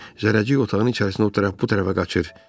Zərrəcik otağın içərisində o tərəf bu tərəfə qaçır.